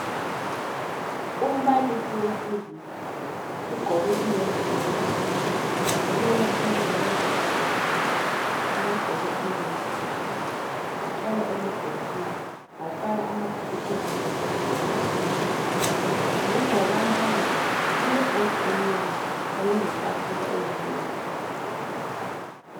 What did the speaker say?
umbalisi wesilisa ugqoke ihembe emhlophe ume phambili kwabantwana besikolo abagqoke amahembe amhlophe bahlala emabhenjini bafaka amabhuku phezulu kwetafula eyenzwe ngesigodo ngemva kukambalisi kule bhodi emnyama kanye letafula eyenzwe ngesigodo